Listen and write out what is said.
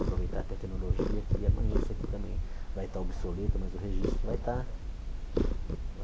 Aproveitar a tecnologia que amanhã isso aqui também vai estar obsoleto, mas o registro vai estar